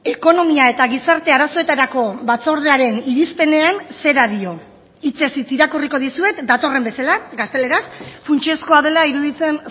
ekonomia eta gizarte arazoetarako batzordearen irizpenean zera dio hitzez hitz irakurriko dizuet datorren bezala gazteleraz funtsezkoa dela iruditzen